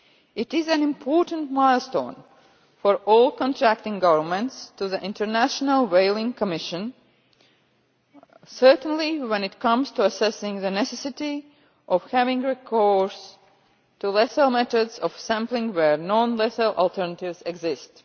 It is an important milestone for all contracting governments to the International Whaling Commission certainly when it comes to assessing the necessity of having recourse to lethal methods of sampling where non lethal alternatives exist.